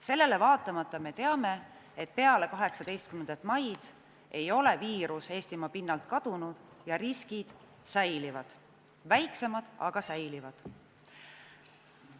Sellele vaatamata me teame, et peale 18. maid ei ole viirus Eestimaa pinnalt kadunud ja riskid säilivad, nad on väiksemad, aga säilivad.